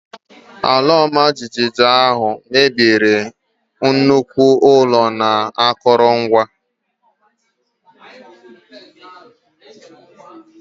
Ala ọmajiji ahụ mebiri nnukwu ụlọ na akụrụngwa.